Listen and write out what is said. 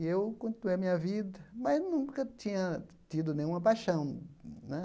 E eu continuei a minha vida, mas nunca tinha tido nenhuma paixão né.